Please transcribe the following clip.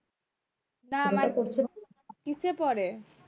না মানে কিসে পরে